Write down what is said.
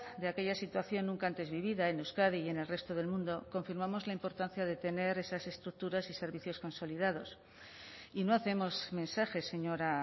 de aquella situación nunca antes vivida en euskadi y en el resto del mundo confirmamos la importancia de tener esas estructuras y servicios consolidados y no hacemos mensajes señora